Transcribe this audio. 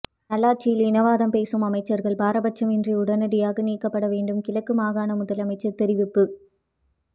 நல்லாட்சியில் இனவாதம் பேசும் அமைச்சர்கள் பாரபட்சமின்றி உடனடியாக நீக்கப்பட வேண்டும் கிழக்கு மாகாண முதலமைச்சர் தெரிவிப்பு